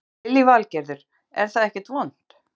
Lillý Valgerður: Er það ekkert vont?